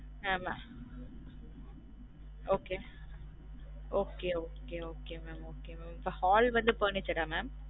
ஆம okay okay okay okay mam okay mam இப்ப hall வந்து furnished ஆ mam